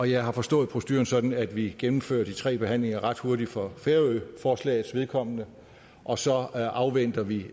jeg har forstået proceduren sådan at vi gennemfører de tre behandlinger ret hurtigt for færøforslagets vedkommende og så afventer vi